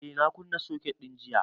Eh, na kunna soket din jiya